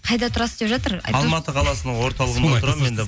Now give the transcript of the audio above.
қайда тұрасыз деп жатыр алматы қаласының орталығында